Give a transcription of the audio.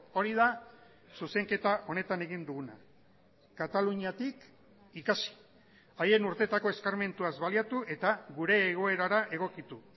hori da zuzenketa honetan egin duguna kataluniatik ikasi haien urteetako eskarmentuaz baliatu eta gure egoerara egokitu